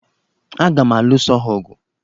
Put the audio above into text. Aga m aluso ha ọgụ?